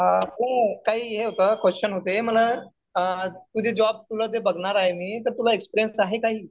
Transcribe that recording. हे काही हे होतं. क्वेशन होते. म्हणलं तुला जे जॉब बघणार आहे मी तर तुला एक्सपीरियन्स आहे काही?